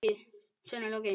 Sönnun lokið.